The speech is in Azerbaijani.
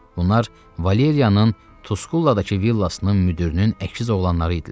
Bunlar Valeriyanın Tuskulladakı villasının müdirinin əkiz oğlanları idilər.